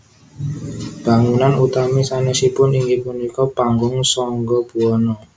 Bangunann utami sanesipun inggih punika Panggung Sangga Buwana